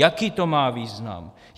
Jaký to má význam?